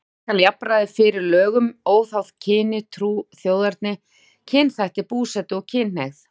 Tryggja skal jafnræði fyrir lögum óháð kyni, trú, þjóðerni, kynþætti, búsetu og kynhneigð.